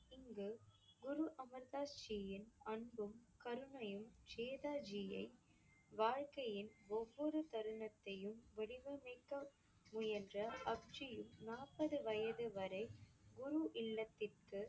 இங்குக் குரு அமிர் தாஸ் ஜியின் அன்பும் கருணையும் ஜேதா ஜியை வாழ்க்கையின் ஒவ்வொரு தருணத்தையும் வடிவமைக்க முயன்ற நாற்பது வயது வரை குரு இல்லத்திற்கு